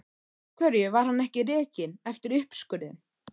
Af hverju var hann ekki rekinn eftir uppskurðinn?